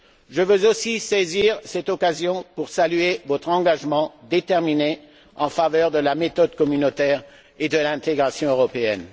Je veux aussi saisir cette occasion pour saluer votre engagement déterminé en faveur de la méthode communautaire et de l'intégration européenne.